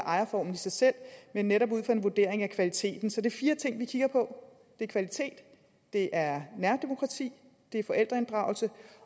ejerformen i sig selv men netop ud fra en vurdering af kvaliteten så det er fire ting vi kigger på det er kvalitet det er nærdemokrati det er forældreinddragelse